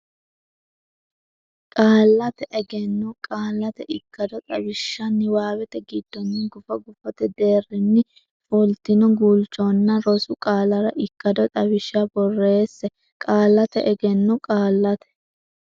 Qaallate Egenno Qaallate Ikkado Xawishsha niwaawete giddonni gufo gufote deerrinni fultino guulchonna rosu qaallara ikkado xawishsha borreesse Qaallate Egenno Qaallate.